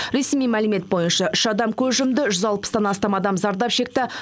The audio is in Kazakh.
ресми мәлімет бойынша үш адам көз жұмды жүз алпыстан астам адам зардап шекті